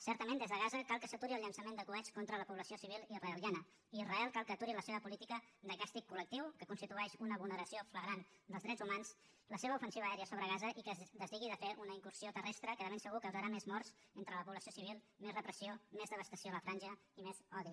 certament des de gaza cal que s’aturi el llançament de coets contra la població civil israeliana i israel cal que aturi la seva política de càstig coltitueix una vulneració flagrant dels drets humans la seva ofensiva aèria sobre gaza i que es desdigui de fer una incursió terrestre que de ben segur causarà més morts entre la població civil més repressió més devastació a la franja i més odi